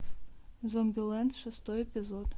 зомбилэнд шестой эпизод